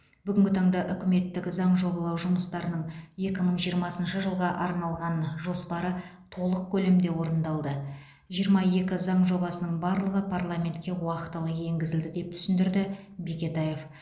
бүгінгі таңда үкіметтің заң жобалау жұмыстарының екі мың жиырмасыншы жылға арналған жоспары толық көлемде орындалды жиырма екі заң жобасының барлығы парламентке уақтылы енгізілді деп түсіндірді бекетаев